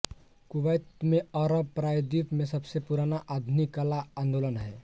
Kuwait में अरब प्रायद्वीप में सबसे पुराना आधुनिक कला आंदोलन है